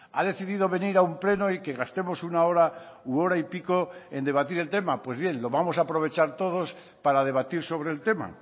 ha decidido venir a un pleno y que gastemos una hora u hora y pico en debatir el tema pues bien lo vamos a aprovechar todos para debatir sobre el tema